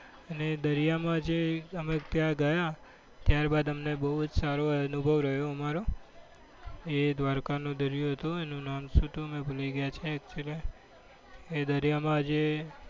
અને દરિયામાં જે અમે ત્યાં ગયા ત્યારબાદ અમને બહુ જ સારો અનુભવ રહ્યો અમારો એ દ્વારકાનો દરિયો હતો. એનું નામ તો અમે ભૂલી ગયા છીએ. actually એ દરિયામાં જે